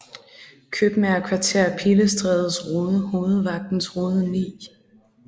Kjøbmager Kvarter Pilestrædes Rode Hovedvagtens Rode 9